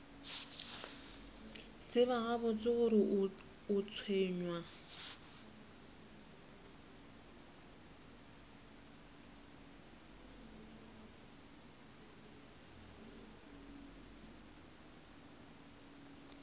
tseba gabotse gore o tshwenywa